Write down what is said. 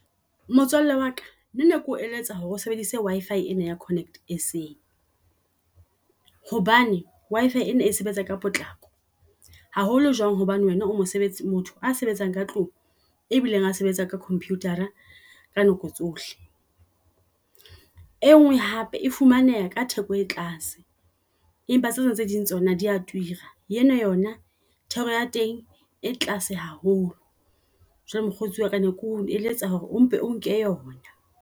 Motswalle wa ka le nna ne ko eletsa hore o sebedise Wi-fi ena ya Connect SA. Hobane Wi-fi ena e sebetsa ka potlako haholo jwang hobane wena o mosebetsi o motho a sebetsang ka tlung. E bileng a sebetsa ka computer-ra ka nako tsohle. Enngwe hape e fumaneha ka theko e tlase, empa tsena tse ding tsona di a tura, eno yona thero ya teng e tlase haholo. Jwale mokgotsi wa ka ne ko eletsa hore o mpe o nke yona.